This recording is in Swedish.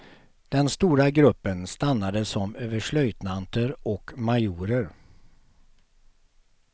Den stora gruppen stannade som överstelöjtnanter och majorer.